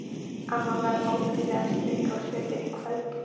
Amma var óvenjulega ströng á svipinn í kvöld.